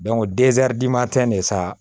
de sa